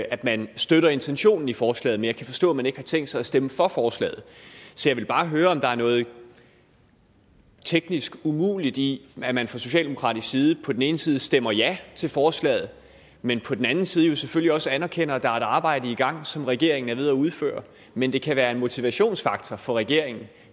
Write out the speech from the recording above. at man støtter intentionen i forslaget men jeg kan forstå at man ikke har tænkt sig at stemme for forslaget så jeg vil bare høre om der er noget teknisk umuligt i at man fra socialdemokratisk side på den ene side stemmer ja til forslaget men på den anden side jo selvfølgelig også anerkender at der arbejde i gang som regeringen er ved at udføre men det kan være en motivationsfaktor for regeringen